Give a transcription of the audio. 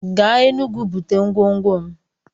Gaa Enugwu bute ngwongwo m!